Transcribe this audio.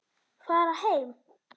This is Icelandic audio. Fara heim!